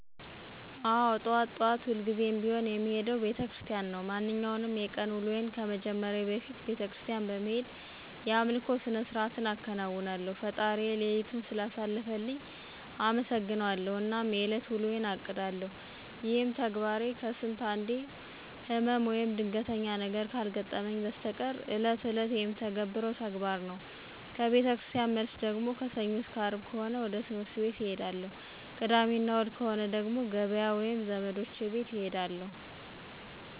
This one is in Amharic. አዎ ጠዋት ጠዋት ሁልጊዜም ቢሆን የምሄደው ቤተክርስቲያን ነው። ማንኛውንም የቀን ውሎዬን ከመጀመሬ በፊት ቤተክርስቲያን በመሄድ የአምልኮ ስርዓትን አከናውናለሁ፣ ፈጣሪዬን ሌሊቱን ስላሳለፈልኝ አመሠግነዋለሁ አናም የእለት ውሎዬን አቅዳለሁ። ይሄም ተግባሬ ከስንት አንዴ ህመም ወይም ድንገተኛ ነገር ካልገጠመኝ በስተቀር እለት እለት የምተገብረው ተግባር ነው። ከቤተክርስቲያን መልስ ደግሞ ከሰኞ አስከ አርብ ከሆነ ወደ ትህምርት ቤት እሄዳለሁ። ቅዳሜ እና እሁድ ከሆነ ደግሞ ገበያ ወይም ዘመዶቼ ቤት እሄዳለሁ።